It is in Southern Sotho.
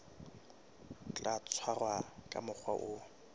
tla tshwarwa ka mokgwa o